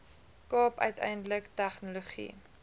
kaap uiteindelik tegnologie